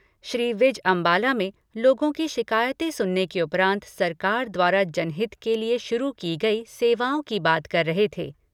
श्री विज अम्बाला में लोगों की शिकायतें सुनने के उपरांत सरकार द्वारा जनहित के लिए शुरू की गई सेवाओं की बात कर रहे थे।